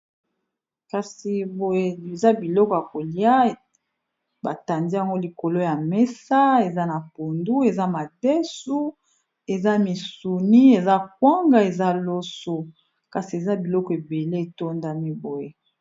Kasi boye eza biloko yakolia batandi yango likolo ya mesa eza na pondu eza madesu eza misuni eza kwanga eza loso kasi eza biloko ebele etondami boye.